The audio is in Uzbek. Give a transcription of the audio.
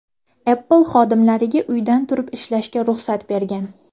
Apple xodimlariga uydan turib ishlashga ruxsat bergan .